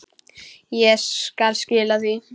Ég skal skila því.